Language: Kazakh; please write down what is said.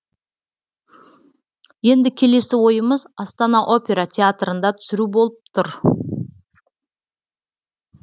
енді келесі ойымыз астана опера театрында түсіру болып тұр